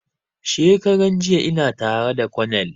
Shekaran jiya ina tara da konel